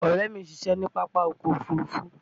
Ọ̀rẹ́ mi ń ṣiṣẹ́ ní Pápákọ̀ Òfurufú